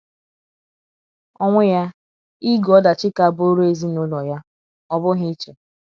ọnwụ ya ,ige ọdachi ka bụụrụ ezinụlọ ya, ọ bụghị iche